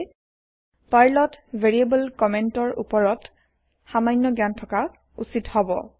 পাৰ্লৰ ভেৰিয়েবৰ কমেন্টৰ ভেৰিয়েবলছ কমেণ্টছ ওপৰত সামান্য জ্ঞান থকা উচিত হব